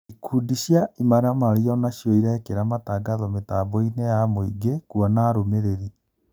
Ikundi cia imaramari onacio irekĩra matagatho mĩtamboinĩ ya mũingĩ kũona arũmĩrĩri.